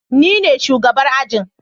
Nine shugabar ajin.